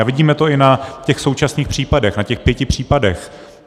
A vidíme to i na těch současných případech, na těch pěti případech.